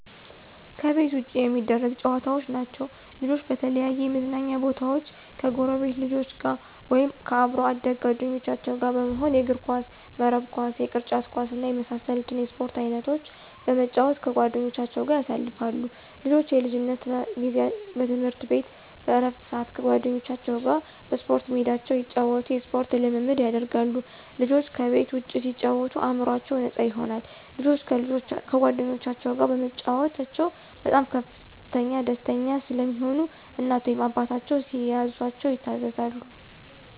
ከቤት ውጭ የሚደረጉ ጨዋታዎች ናቸዉ። ልጆች በተለያዩ የመዝናኛ ቦታወች ከጎረቤት ልጆች ጋር ወይም ከአብሮ አደግ ጓደኞቻቸው ጋር በመሆን የእግርኳስ፣ የመረብ ኳስ፣ የቅርጫት ኳስ እና የመሳሰሉትን የስፖርት አይነቶች በመጫወት ከጓደኞቻቸው ጋር ያሳልፋሉ። ልጆች የልጅነት ጊዜ በትምህርት ቤት በእረፍት ስአት ከጓደኞቻቸው ጋር በስፖርት ሜዳቸው እየተጫወቱ የስፖርት ልምምድ ያደርጋሉ። ልጆች ከቤት ውጭ ሲጫወቱ አእምሮአቸው ነፃ ይሆናል። ልጆች ከጓደኞቻቸው ጋር በመጫወታቸው በጣም ደስተኛ ስለሚሆኑ እናት ወይም አባታቸው ሲያዛቸው ይታዘዛሉ።